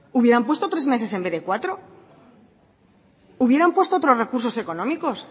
hubieran puesto tres meses en vez cuatro hubieran puesto otros recursos económicos